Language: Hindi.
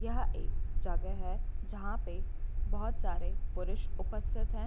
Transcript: यह एक जगह है जहाँ पे बहोत सारे पुरुष उपस्थित हैं।